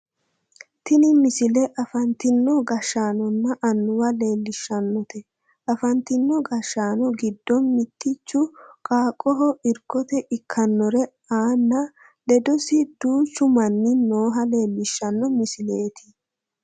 Tini misile afantino gashshaanonna annuwa leellishshannote afantino gashshaano giddono mittichi qaaqqoho irkote ikkannore aanna ledosino duuchu manni nooha leellishanno misileeti